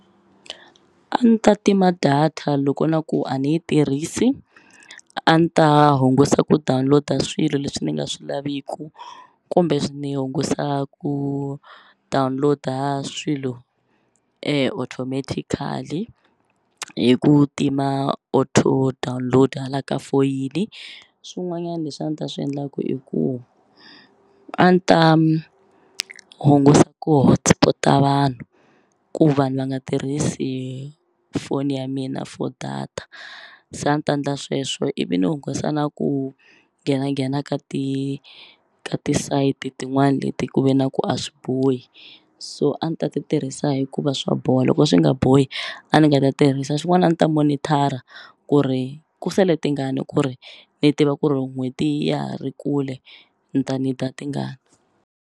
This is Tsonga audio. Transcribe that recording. A ni ta tima data loko na ku a ni yi tirhisi a ni ta hungusa ku download-a swilo leswi ni nga swi laviku kumbe ni hungusa ku download-a swilo automatically hi ku tima auto download hala ka foyini swin'wanyani leswi a ndzi ta swi endlaku i ku a ni ta hungusa ku hotspot-a vanhu ku vanhu va nga tirhisi foni ya mina for data se a ni ta ndla sweswo ivi ni hungusa na ku nghenanghena ka ti ka ti-side tin'wani leti ku ve na ku a swi bohi so a ni ta ti tirhisa hikuva swa boha loko swi nga bohi a ni nga ta tirhisa xin'wani a ni ta monitor-a ku ri ku sale tingani ku ri ni tiva ku ri n'hweti ya ha ri kule ni ta need-a tingani.